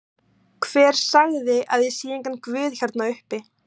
Hver sagði ég sé engan guð hérna uppi?